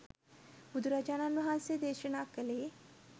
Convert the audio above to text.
බුදුරජාණන් වහන්සේ දේශනා කළේ